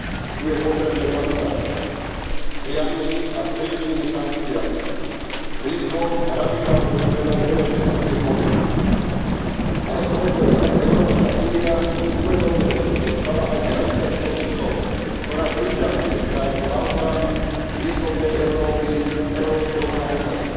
Tú je potrebné zastaviť priamymi a striktnými sankciami, rýchlou a radikálnou zmenou energetickej politiky, ale, kolegovia, Európska únia, uvedomme si to, sa stala aj gravitačnou silou, ktorá priťahuje krajiny Balkánu, východnej Európy, európskeho Kaukazu.